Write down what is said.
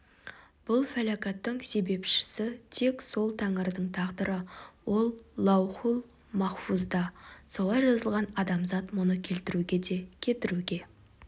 бұл фәләкәттің себепшісі тек сол тәңірдің тағдыры ол лаухул-махфузда солай жазылған адамзат мұны келтіруге де кетіруге